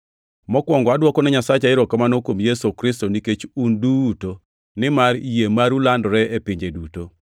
Mokwongo, adwokone Nyasacha erokamano, kuom Yesu Kristo nikech un duto, nimar yie maru landore e pinje duto.